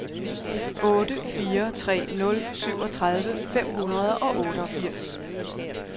otte fire tre nul syvogtredive fem hundrede og otteogfirs